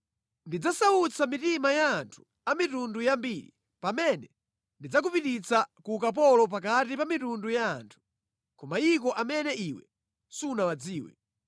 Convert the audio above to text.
Ndidzasautsa mitima ya anthu a mitundu yambiri pamene ndidzakupititsa ku ukapolo pakati pa mitundu ya anthu, ku mayiko amene iwe sunawadziwe.